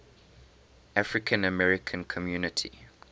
african american community